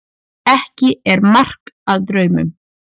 Ekki er mark að draumum.